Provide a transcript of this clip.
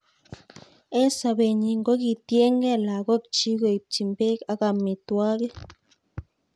En sobe nyin kokitienge lakok chik koibchi bek ak amitwokik.